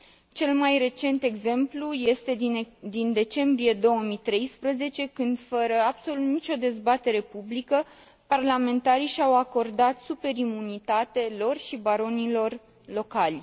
Cel mai recent exemplu este din decembrie 2013, când, fără absolut nicio dezbatere publică, parlamentarii și au acordat super imunitate lor și baronilor locali.